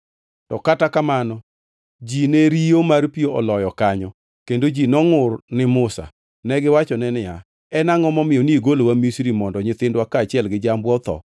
To kata kamano ji ne riyo mar pi oloyo kanyo, kendo ji nongʼur ni Musa. Negiwachone niya, “En angʼo momiyo nigolowa Misri mondo nyithindwa kaachiel gi jambwa otho?”